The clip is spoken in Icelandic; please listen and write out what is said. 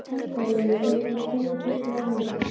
Fangavörðurinn rétti mér poka fullan af vörum.